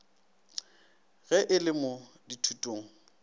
ge e le mo dithutong